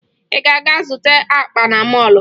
Ị ga-aga zụta akpa na mọọlụ?